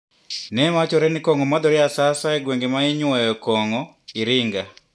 Newachore ni kong`o madhore asasa e gwenge mainyuoyo kong`o Iringa.